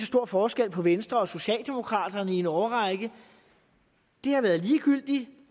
stor forskel på venstre og socialdemokraterne i en årrække det har været ligegyldigt